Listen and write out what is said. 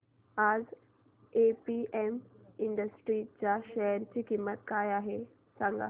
आज APM industries च्या share ची किंमत काय आहे सांगा